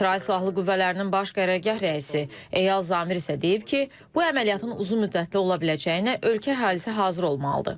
İsrail Silahlı Qüvvələrinin Baş Qərargah rəisi Eyal Zamir isə deyib ki, bu əməliyyatın uzunmüddətli ola biləcəyinə ölkə əhalisi hazır olmalıdır.